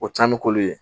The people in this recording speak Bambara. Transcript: O caman bɛ k'olu ye